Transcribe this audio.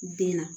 Den na